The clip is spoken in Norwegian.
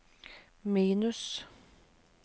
minus